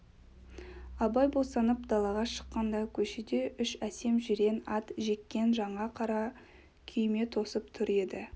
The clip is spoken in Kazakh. абай босанып далаға шыққанда көшеде үш әсем жирен ат жеккен жаңа қара күйме тосып тұр еді